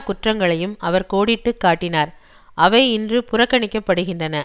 குற்றங்களையும் அவர் கோடிட்டு காட்டினார் அவை இன்று புறக்கணிக்கப்படுகின்றன